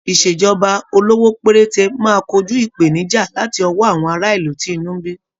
Ìṣèjọba olówó péréte máa kojú ìpènijà láti ọwó àwọn ará ìlú tí inú ń bí.